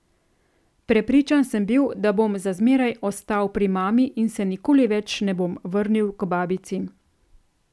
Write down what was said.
Prepričan sem bil, da bom za zmeraj ostal pri mami in se nikoli več ne bom vrnil k babici.